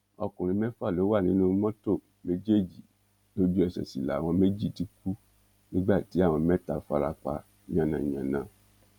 ọkùnrin mẹ́fà ló wà nínú mọ́tò méjèèjì lójúẹsẹ̀ sì làwọn méjì ti kú nígbà tí àwọn mẹ́ta fara pa yánnayànna